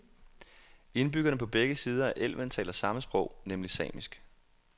Indbyggerne på begge sider af elven taler samme sprog, nemlig samisk.